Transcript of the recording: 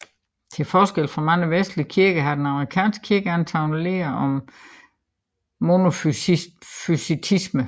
Til forskel fra mange vestlige kirker har den armenske kirke antaget læren om monofysitisme